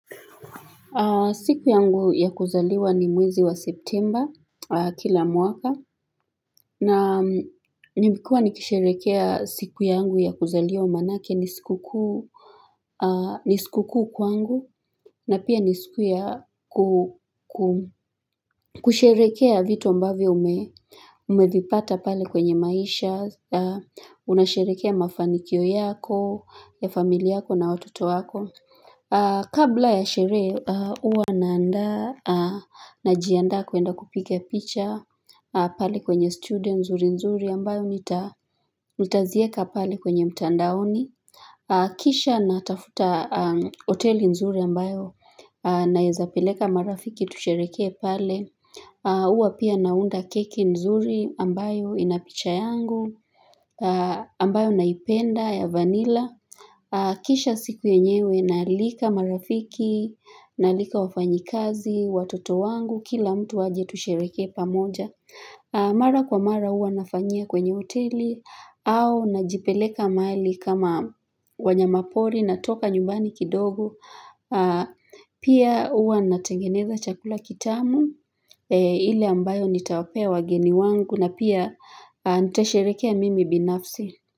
Siku yangu ya kuzaliwa ni mwezi wa septemba kila mwaka na nimekuwa nikisherekea siku yangu ya kuzaliwa manake ni siku kuu ni siku kuu kwangu na pia ni siku ya kusherekea vitu ambavyo umevipata pale kwenye maisha, unasherehekea mafanikio yako, ya familia yako na watoto wako. Kabla ya sherehe uwa naanda najianda kuenda kupiga picha pali kwenye studio nzuri nzuri ambayo nitazieka pali kwenye mtandaoni Kisha natafuta hoteli nzuri ambayo naezapeleka marafiki tushereke pale Uwa pia naunda keki nzuri ambayo inapicha yangu ambayo naipenda ya vanila Kisha siku yenyewe naalika marafiki, naalika wafanyikazi, watoto wangu, kila mtu aje tushereke pamoja Mara kwa mara uwa nafanyia kwenye hoteli au najipeleka mahali kama wanyama pori na toka nyumbani kidogo Pia uwa natengeneza chakula kitamu ile ambayo nitawapea wageni wangu na pia nitasherekea mimi binafsi.